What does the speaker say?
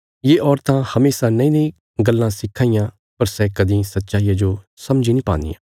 ये औरतां हमेशा नईनई गल्लां सिक्खां इयां पर सै कदीं सच्चाईया जो समझी नीं पान्दियां